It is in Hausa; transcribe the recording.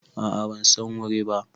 A a ban San wuri ba.